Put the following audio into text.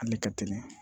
Hali ka teli